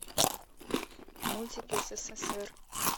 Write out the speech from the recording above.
мультики ссср